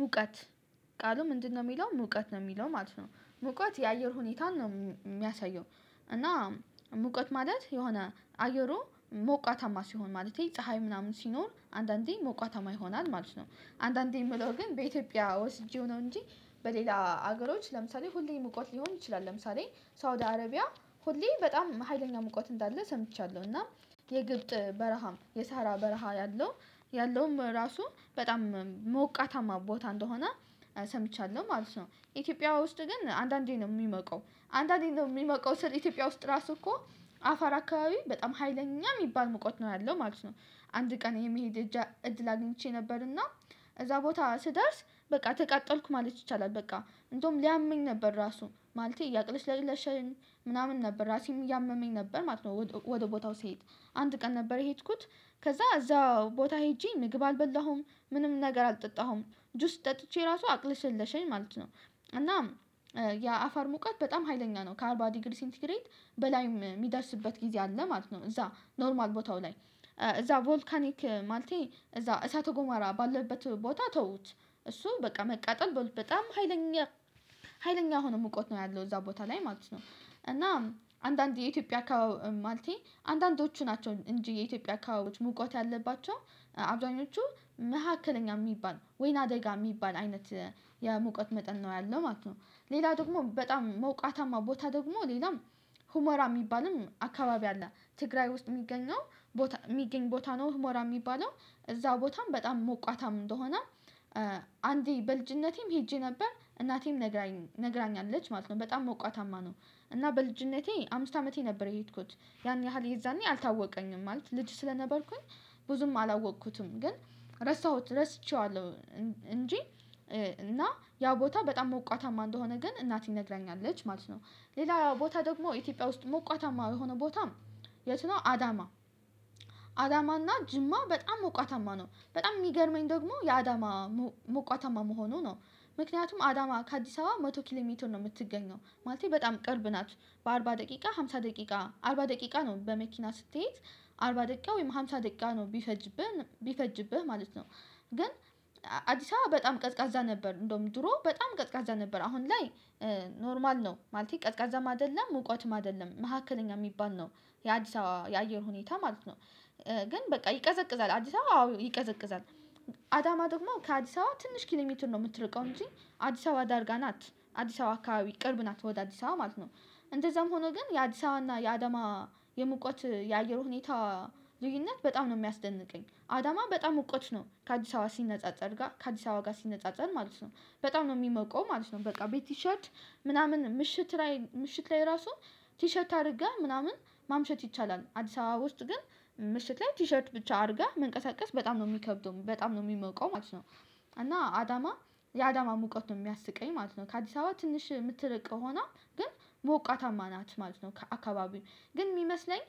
ሙቀት ቃሉ ምንድነው? የሚለው ሙቀት ነው የሚለው ማለት ነው። ሙቀት የአየር ሁኔታን ነው የሚያሳየው። እና ሙቀት ማለት የሆነ አየሩ ሞቃታማ ሲሆን ማለቴ ፀሀይ ምናምን ሲኖር አንዳንዴ ሞቃታማ ይሆናል ማለት ነው። አንዳንዴ የምለው ግን በኢትዮጵያ ወስጄው ነው እንጂ በሌላ አገሮች ለምሳሌ ሁሌ ሙቀት ሊሆን ይችላል። ለምሳሌ ሳውድ አረቢያ ሁሌ በጣም ሀይለኛ ሙቀት እንዳለ ሰምቻለሁ። እና የግብጽ በረሃም የሳሃራ በረሃ ያለው ያለውም ራሱ በጣም ሞቃታማ ቦታ እንደሆነ ሰምቻለሁ ማለት ነው። ኢትዮጵያ ውስጥ ግን አንዳንዴ ነው የሚሞቀው አንዳንዴ ነው የሚሞቀው ስል ኢትዮጵያ ውስጥ ራሱ እኮ አፋር አካባቢ በጣም ሀይለኛ የሚባል ሙቀት ነው ያለው ማለት ነው። አንድ ቀን የመሄድ እጃ እድል አግኝቼ ነበር። እና እዛ ቦታ ስደርስ በቃ ተቃጠልኩ ማለት ይቻላል በቃ እንደውም ሊያመኝ ነበር ራሱ ማለቴ እያቅለሽለሸኝ ምናምን ነበር ራሴን እያመመኝ ነበር ማለት ነው። ወደ ወደ ቦታው ስሄድ አንድ ቀን ነበር የሄድኩት። ከዛ እዛው ቦታ ሄጄ ምግብ አልበላሁም ምንም ነገር አልጠጣሁም ጁስ ጠጥቼ ራሱ አቅለሸለሸኝ ማለት ነው። እና የ አፋር ሙቀት በጣም ሀይለኛ ነው ከአርባ ዲግሪ ሴንቲ ግሬድ በላይ የሚደርስበት ጊዜ አለ ማለት ነው። እዛ ኖርማል ቦታው ላይ እዛ ቮልካኒክ ማለቴ እዛ እሳተ ገሞራ ባለበት ቦታ ተውት እሱ በቃ መቃጠል በጣም ሀይለኛ ሀይለኛ የሆነ ሙቀት ነው ያለው እዛ ቦታ ላይ ማለት ነው። እና አንዳንድ የኢትዮጵያ አካባቢ ማለቴ አንዳንዶቹ ናቸው እንጂ የኢትዮጵያ አካባቢዎች ሙቀት ያለባቸው አብዛኞቹ መካከለኛ የሚባል ወይና ደጋ የሚባል አይነት የሙቀት መጠን ነው ያለው ማለት ነው። ሌላ ደግሞ በጣም ሞቃታማ ቦታ ደግሞ ሌላም ሁመራ የሚባልም አካባቢ አለ ትግራይ ውስጥ የሚገኘው ቦታ የሚገኝ ቦታ ነው ሁመራ የሚባለው። እዛ ቦታም በጣም ሙቃታም እንደሆነ አንዴ በልጅነቴም ሄጄ ነበር እናቴም ነግራኝ ነግራኛለች ማለት ነው በጣም ሞቃታማ ነው። እና በልጅነቴ አምስት አመቴ ነበር የሄድኩት ያን ያህል የዛኔ አልታወቀኝም ማለት ልጅ ስለነበርኩኝ። ብዙም አላወቅኩትም ግን ረሳሁት ረስቼዋለሁ። እንጂ እና ያ ቦታ በጣም ሞቃታማ እንደሆነ ግን እናቴ ነግረኛለች ማለት ነው። ሌላ ቦታ ደግሞ ኢትዮጵያ ውስጥ ሞቃታማ የሆነ ቦታ። የት ነው አዳማ? አዳማና ጅማ በጣም ሞቃታማ ነው በጣም የሚገርመኝ ደግሞ የአዳማ ሞሞቃታማ መሆኑ ነው። ምክንያቱም አዳማ ከአዲስ አበባ መቶ ኪሎ ሜትር ነው የምትገኘው ማለቴ በጣም ቅርብ ናት። በአርባ ደቂቃ አምሳ ደቂቃ አርባ ደቂቃ ነው በመኪና ስትሄድ አርባ ደቂቃ ወይም ሃምሳ ደቂቃ ነው ቢፈጅብህ ቢፈጅብህ ማለት ነው። ግን አዲስ አበባ በጣም ቀዝቃዛ ነበር እንደውም ድሮ በጣም ቀዝቃዛ ነበር አሁን ላይ። ኖርማል ነው ማለቴ ቀዝቃዛም አይደለም ሙቀትም አይደለም መካከለኛ የሚባል ነው። የአዲስአበባ የአየር ሁኔታ ማለት ነው። ግን በቃ ይቀዘቅዛል አዲስ አበባ አዎ ይቀዘቅዛል። አዳማ ደግሞ ከአዲስ አበባ ትንሽ ኪሎሜትር ነው የምትርቀው እንጂ አዲስ አበባ ዳርጋ ናት አዲስ አበባ አካባቢ ቅርብ ናት ወደ አዲስ አበባ ማለት ነው። እንደዛም ሆኖ ግን የአዲስ አበባ እና የአዳማ የሙቀት የአየር ሁኔታ ልዩነት በጣም ነው የሚያስደንቀኝ አዳማ በጣም ሙቀት ነው ከአዲስ አበባ ሲነጻጸር ጋር ከአዲስ አበባ ጋር ሲነጻጸር ማለት ነው። በጣም ነው የሚሞቀው ማለት ነው በቃ ቤት ቲሸርት ምናምን ምሽት ላይ ምሽት ላይ ራሱ። ቲሸርት አድርገህ ምናምን ማምሸት ይቻላል አዲስ አበባ ውስጥ ግን ምሽት ላይ ቲሸርት ብቻ አድርገህ መንቀሳቀስ በጣም ነው የሚከብደው በጣም ነው የሚሞቀው ማለት ነው። እና አዳማ የአዳማ ሙቀት ነው የሚያስቀኝ ማለት ነው ከአዲስ አበባ ትንሽ የምትርቅ ሆና ግን ሞቃታማ ናት ማለት ነው። ከአካባቢው ግን የሚመስለኝ።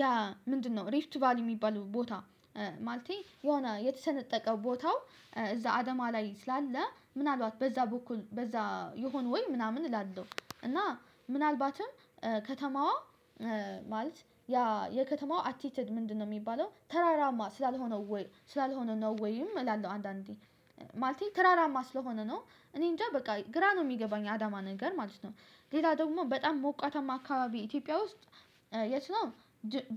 ያ ምንድንነው ሪፍት ቫሊ የሚባለው ቦታ። ማለቴ የሆነ የተሰነጠቀ ቦታው እዛ አዳማ ላይ ስላለ ምን አልባት በዛ በኩል በዛ ይሆነ ወይ ምናምን እላለሁ። እና ምናልባትም ከተማዋ ማለት ያ የከተማዋ አቲትድ ምንድንነው? የሚባለው ተራራማ ስላልሆነው ወይ ስላልሆነ ነው ወይም እላለሁ አንዳንዴ ማለቴ ተራራማ ስለሆነ ነው እኔ እንጃ በቃ ግራ ነው የሚገባኝ አዳማ ነገር ማለት ነው። ሌላ ደግሞ በጣም ሞቃታማ አካባቢ ኢትዮጵያ ውስጥ። የት ነው?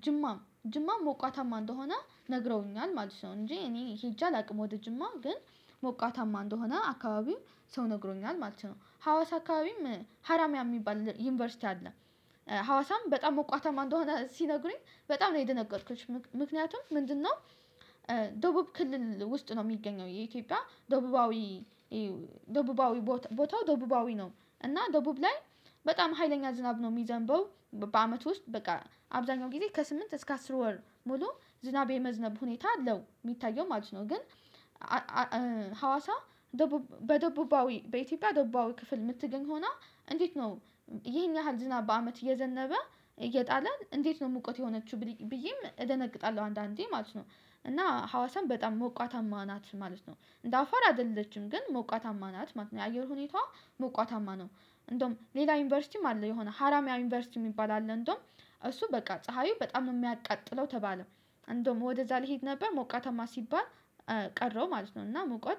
ጅማ ጅማም ሞቃታማ እንደሆነ ነግረውኛል ማለት ነው እንጂ እኔ ሄጄ አላውቅም። ወደ ጅማ ግን ሞቃታማ እንደሆነ አካባቢው ሰው ነግሮኛል ማለት ነው። ሀዋሳ አካባቢም ሀራሚያ የሚባል ዩኒቨርሲቲ አለ። ሀዋሳም በጣም ሞቃታማ አንደሆነ ሲነግሩኝ በጣም ነው የደነገጥኩት። ምክንያቱም ምንድንነው? ደቡብ ክልል ውስጥ ነው የሚገኘው የኢትዮጵያ ደቡባዊ ደቡባዊ ቦታ ቦታው ደቡባዊ ነው። እና ደቡብ ላይ በጣም ሀይለኛ ዝናብ ነው የሚዘንበው በአመት ውስጥ በቃ አብዛኛው ጊዜ ከስምንት እስከ አስር ወር ሙሉ ዝናብ የመዝነብ ሁኔታ አለው የሚታየው ማለት ነው። ግን ሀዋሳ ደቡብ በደቡባዊ በኢትዮጵያ ደቡባዊ ክፍል የምትገኝ ሆና እንዴት ነው? ይሄን ያህል ዝናብ በአመት እየዘነበ እየጣለ እንዴት ነው ሙቀት የሆነችው ብል ብዬም እደነግጣለሁ አንዳንዴ ማለት ነው። እና ሀዋሳም በጣም ሞቃታማ ናት ማለት ነው። እንደ አፋር አይደለችም ግን ሞቃታማ ናት ማለት ነው። የአየር ሁኔታዋ ሞቃታማ ነው። እንደውም ሌላ ዩኒቨርሲቲም አለ የሆነ ሀረማያ ዩኒቨርሲቲ የሚባል አለ እንደውም እሱ በቃ ፀሀዩ በጣም ነው የሚያቃጥለው ተባለ። እንደውም ወደዛ ልሄድ ነበር ሞቃታማ ሲባል ቀረሁ ማለት ነው። እና ሙቀት